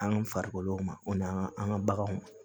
An farikolo ma o n'an ka baganw